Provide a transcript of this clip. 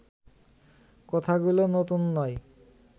কথাগুলো নতুন নয়